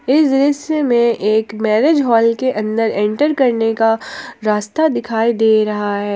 इस दृश्य में एक मैरेज हॉल के अंदर इंटर करने का रास्ता दिखाई दे रहा है।